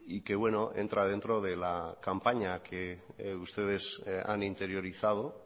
y que bueno entra dentro de la campaña que ustedes han interiorizado